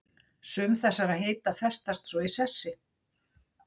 Sum þessara heita festast svo í sessi.